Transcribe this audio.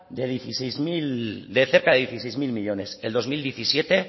de cerca de dieciséis mil millónes el dos mil diecisiete